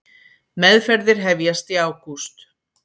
Meðferðir hefjast í ágúst